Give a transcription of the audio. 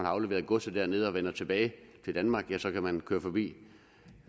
afleveret godset dernede og vender tilbage til danmark ja så kan man køre forbi